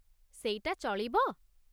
ସେଇଟା ଚଳିବ?